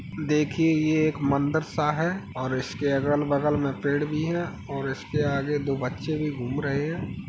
देखिए ये एक मंदिर सा है और इसके अगल बगल में पेड़ भी है और इसके आगे दो बच्चे भी घूम रहे हैं।